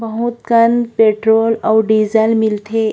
बहुत कन पेट्रोल अउ डीजल मिलथे।